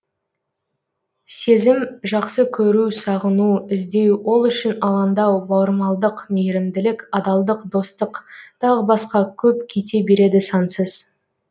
сезім жақсы көру сағыну іздеу ол үшін алаңдау бауырмалдық мейірімділік адалдық достық тағы басқа көп кете береді сансыз